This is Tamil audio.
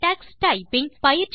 டக்ஸ்டைப்பிங்